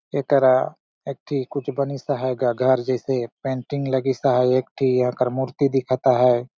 एकरा एक ठी कुछ बनीस अहाय गा घर जइसे पेंटिंग लगीस अहाय एक ठी यह कर मूर्ति दिखत है।